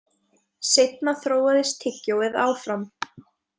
Seinna þróaðist tyggjóið áfram.